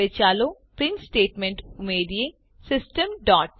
હવે ચાલો print statement ઉમેરીએ સિસ્ટમ